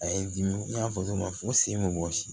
A ye dimi n y'a fɔ cogo min na fo sen bɛ wɔsi